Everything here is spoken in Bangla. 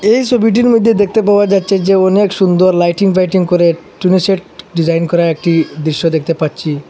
এই ছবিটির মইদ্যে দেখতে পাওয়া যাচ্ছে যে অনেক সুন্দর লাইটিং ভাইটিং করে টুনি সেট ডিজাইন করা একটি দৃশ্য দেখতে পাচ্ছি।